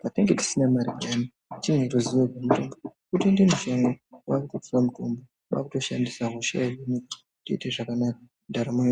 patinenge tisina mare payani petinondoziye kuti mutombo wotoende mushango kwakutotora mutombo kwakutoshandisa hosha yohinika zvoite zvakanaka ndaramo yo.